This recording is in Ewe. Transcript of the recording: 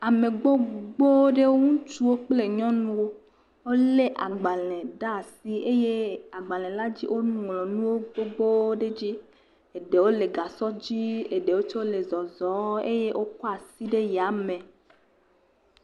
Ame gbogbo aɖe, ŋutsuwo kple nyɔnuwo wole agbalẽ ɖe asi eye agbalẽ la dzia, woŋlɔ nu gbogbo ɖe edzi. Eɖewo le gasɔ dzi eye eɖewo tsɛ le zɔzɔm kɔ asi ɖe tame.